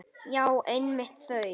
Já, einmitt þau!